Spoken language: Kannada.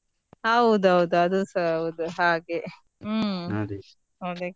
ಹೌದೌದು ಅದುಸಾ ಹೌದು ಹಾಗೆ ಅದೇ.